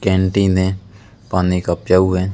Canteen है पानी का प्याऊ है।